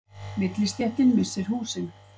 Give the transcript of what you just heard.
Millistéttin missir húsin